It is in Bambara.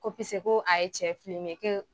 Ko ko a ye cɛ